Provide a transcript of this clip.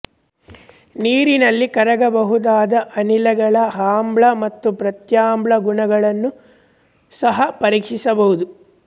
ನೀರಿನಲ್ಲಿ ಕರಗಬಹುದಾದ ಅನಿಲಗಳ ಆಮ್ಲ ಮತ್ತು ಪ್ರತ್ಯಾಮ್ಲ ಗುಣಗಳನ್ನು ಸಹ ಪರೀಕ್ಷಿಸಬಹುದು